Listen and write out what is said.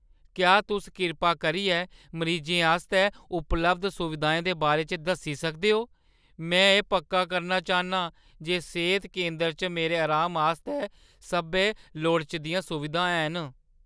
क्या तुस कृपा करियै मरीजें आस्तै उपलब्ध सुविधाएं दे बारे च दस्सी सकदे ओ? में एह् पक्का करना चाह्न्नां जे सेह्त केंदरै च मेरे अराम आस्तै सब्भै लोड़चदियां सुविधां हैन।